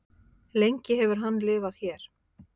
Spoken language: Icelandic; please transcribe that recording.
lengi hefur hann lifað hér